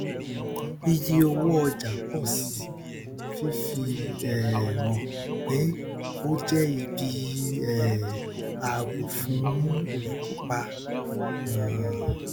iye owó ọjà pọ síi fifi um hàn pé ó jẹ ibi um ààbò fún olùkópa um